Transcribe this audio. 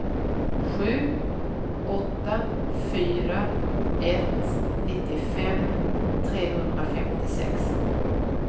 sju åtta fyra ett nittiofem trehundrafemtiosex